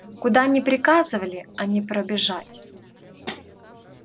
куда ни приказывали а не пробежать